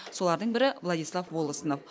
солардың бірі владислав волостнов